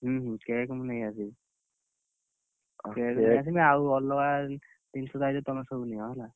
ହୁଁ ହୁଁ cake ମୁଁ ନେଇ ଆସିବି, cake ନେଇଆସିଲେ ଆଉ ଅଲଗା ଜିନିଷ ଦାୟିତ୍ବ ତମେ ସବୁ ନିଅ ହେଲା।